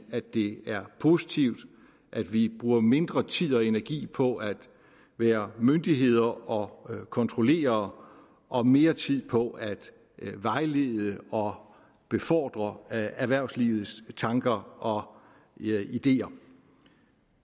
at det er positivt at vi bruger mindre tid og energi på at være myndighed og kontrollere og mere tid på at vejlede og befordre erhvervslivets tanker og ideer